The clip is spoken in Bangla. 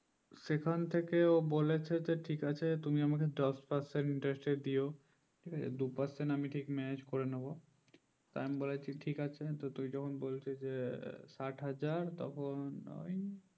সেখান থেকে ও বলেছে যে ঠিক আছে তুমি আমাকে দশ percent এর দিয়ে দুই percent আমি manage করে নেবো আমি বলেছি ঠিক আছে তুই যখন বলছিযে সাত হাজার তখন ওই